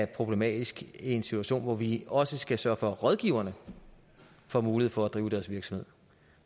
problematisk i en situation hvor vi også skal sørge for at rådgiverne får mulighed for at drive deres virksomhed